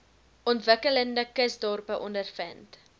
ontwikkelende kusdorpe ondervind